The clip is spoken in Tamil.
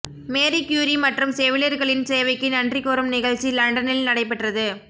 மேரி க்யூரி மற்றும் செவிலியர்களின் சேவைக்கு நன்றி கூறும் நிகழ்ச்சி லண்டனில் நடைபெற்றது